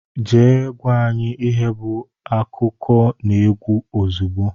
Jee gwa anyị ihe bụ akụkọnaegwu ozigbo!!!!